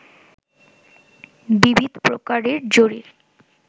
বিবিধ প্রকারের জরির